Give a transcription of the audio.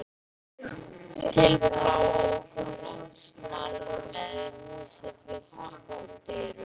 Til bláókunnugs manns með húsið fullt af skordýrum.